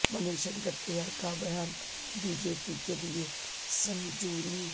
منی شنکر ائیر کا بیان B J P کیلئے سنجیونی